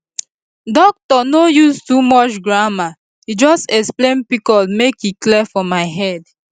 doctor no use too much grammar e just explain pcos make e clear for my head